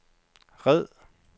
red